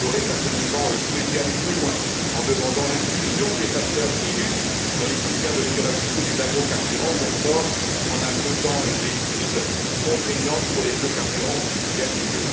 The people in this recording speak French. J'aurais, personnellement, souhaité aller plus loin, en demandant l'inclusion des facteurs ILUC dans les critères de durabilité des agrocarburants ou encore en imposant des objectifs contraignants pour les biocarburants vertueux.